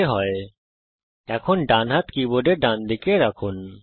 এখন আপনার ডান হাত কীবোর্ডের ডানদিকে রাখুন